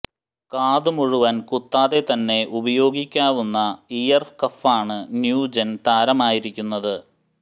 കാത് മുഴുവന് കുത്താതെ തന്നെ ഉപയോഗിക്കാവുന്ന ഇയര് കഫാണ് ന്യൂജെന് താരമായിരിക്കുന്നത്